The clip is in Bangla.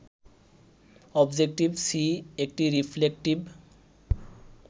অবজেক্টিভ সি একটি রিফ্লেকটিভ